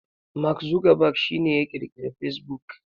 Mark Zuckerberg shi ne ya kirkiri facebook.